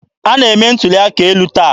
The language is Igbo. A na-eme ntuli aka elu taa.